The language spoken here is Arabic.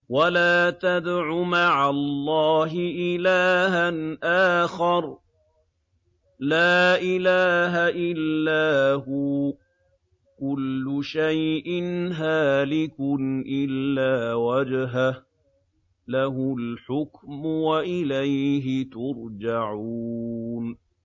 وَلَا تَدْعُ مَعَ اللَّهِ إِلَٰهًا آخَرَ ۘ لَا إِلَٰهَ إِلَّا هُوَ ۚ كُلُّ شَيْءٍ هَالِكٌ إِلَّا وَجْهَهُ ۚ لَهُ الْحُكْمُ وَإِلَيْهِ تُرْجَعُونَ